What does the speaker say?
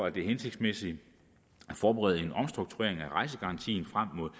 at det er hensigtsmæssigt at forberede en omstrukturering af rejsegarantien frem mod